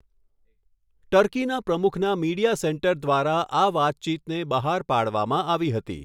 ટર્કીના પ્રમુખના media centre દ્વારા આ વાતચીતને બહાર પાડવામાં આવી હતી.